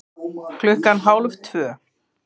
Klukkan hálf tvö